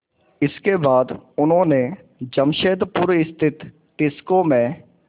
इसके बाद उन्होंने जमशेदपुर स्थित टिस्को में